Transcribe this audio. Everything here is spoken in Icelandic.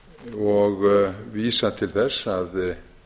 og vísa til þess að